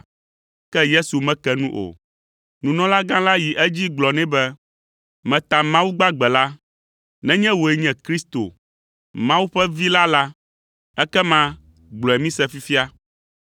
Ke Yesu meke nu o. Nunɔlagã la yi edzi gblɔ nɛ be, “Meta Mawu gbagbe la, nenye wòe nye Kristo, Mawu ƒe Vi la la, ekema gblɔe mise fifia.”